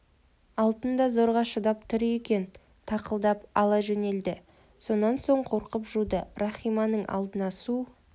алтын да зорға шыдап тұр екен тақылдап ала жөнелді сонан соң қорқып жуды рахиманың алдына су